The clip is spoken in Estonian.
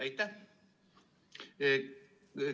Aitäh!